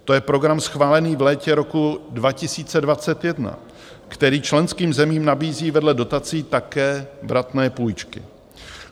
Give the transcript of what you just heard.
To je program schválený v létě roku 2021, který členským zemím nabízí vedle dotací také vratné půjčky.